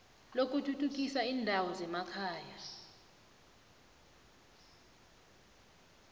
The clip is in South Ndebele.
lokuthuthukisa iindawo zemakhaya